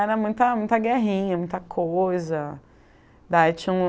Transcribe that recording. Era muita muita guerrinha, muita coisa. Daí tinha um